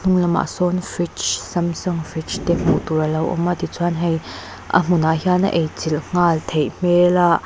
hnung lamah sawn fridge samsung fridge te hmuh tur a lo awm a tichuan hei a hmunah hian a ei chilh nghal theih hmel a.